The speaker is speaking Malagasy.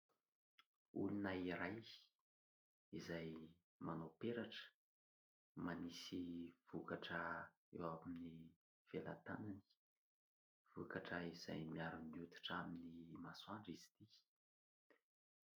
Olona iray izay manao peratra, manisy vokatra eo amin'ny velan-tanany. Vokatra izay miaro ny oditra amin'ny masoandro izy ity.